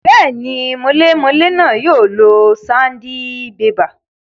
Bẹ́ẹ̀ni, mọlémọlé náà yóò lo sandibébà